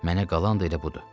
Mənə qalan da elə budur.